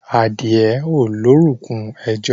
Adìẹ ò lórúnkún ẹjo.